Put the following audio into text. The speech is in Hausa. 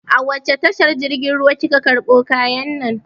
A wace tashar jirgin ruwa kika karɓo kayan nan?